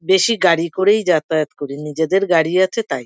বেশী গাড়ি করেই যাতায়ত করি নিজেদের গাড়ি আছে তাই।